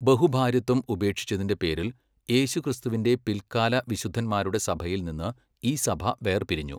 ബഹുഭാര്യത്വം ഉപേക്ഷിച്ചതിന്റെ പേരിൽ യേശുക്രിസ്തുവിന്റെ പിൽക്കാല വിശുദ്ധന്മാരുടെ സഭയിൽ നിന്ന് ഈ സഭ വേർപിരിഞ്ഞു.